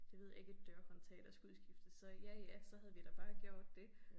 Det ved jeg ikke et dørhåndtag der skulle udskiftes så ja ja så havde vi da bare gjort det